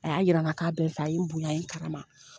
A y'a yira n na k'a bɛ n fɛ a ye n bonya a ye n karama.